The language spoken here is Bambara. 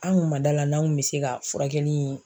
An kun ma da la n'an kun bɛ se ka furakɛli in